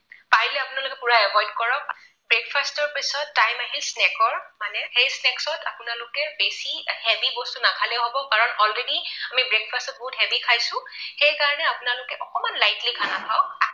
Breakfast ৰ পিছত time আহে snack ৰ। মানে সেই snacks ত আপোনালোকে বেছি heavy বস্তু নাখালেও হব কাৰণ already আমি breakfast টো বহুত heavy খাইছো। সেইকাৰণে আপোনালোকে অকণমান lightly খানা খাওক।